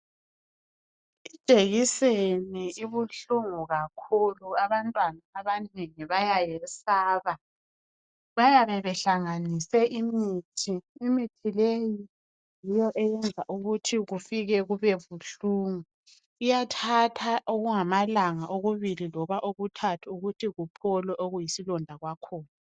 Ijekiseni ibuhlungu kakhulu abantwana abanengi bayayesaba bayabe behlanganise imithi, imithi leyi yiyo eyenza ukuthi kufike kubebuhlungu kuyathatha okungamalanga okubili loba okuthathu ukuthi kuphole okuyisilonda kwakhona.